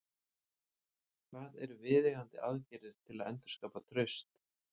Hvað eru viðeigandi aðgerðir til að endurskapa traust?